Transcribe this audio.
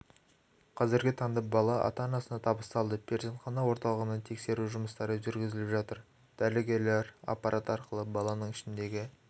қазіргі таңда бала ата-анасына табысталды перзентхана орталығына тексеру жұмыстары жүргізіліп жатыр дәрігерлер аппарат арқылы баланың ішіндегі